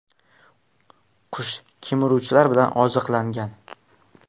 Qush kemiruvchilar bilan oziqlangan.